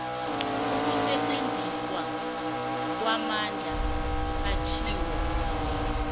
ukusetjenziswa kwamandla atjhiwo